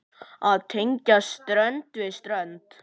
Að tengja strönd við strönd.